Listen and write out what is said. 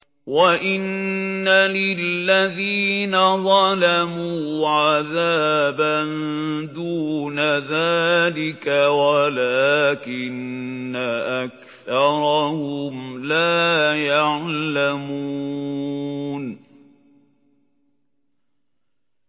وَإِنَّ لِلَّذِينَ ظَلَمُوا عَذَابًا دُونَ ذَٰلِكَ وَلَٰكِنَّ أَكْثَرَهُمْ لَا يَعْلَمُونَ